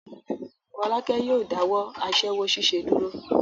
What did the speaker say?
Fọ́lákẹ́ yóò dáwọ́ aṣẹ́wó ṣíṣe dúró.